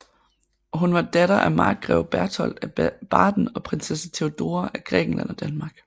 Hun var datter af Markgreve Berthold af Baden og Prinsesse Theodora af Grækenland og Danmark